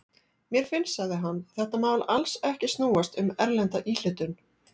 Mér finnst, sagði hann, þetta mál alls ekki snúast um erlenda íhlutun.